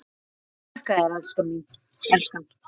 Þakka þér elskan.